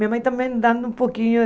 Minha mãe também dando um pouquinho.